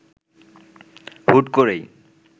হুট করেই